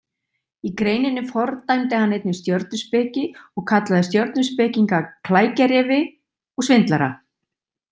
Í greininni fordæmdi hann einnig stjörnuspeki og kallaði stjörnuspekinga klækjarefi og svindlara.